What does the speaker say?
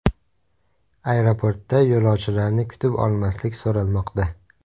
Aeroportda yo‘lovchilarni kutib olmaslik so‘ralmoqda.